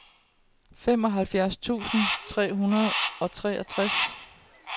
femoghalvfjerds tusind tre hundrede og treogtres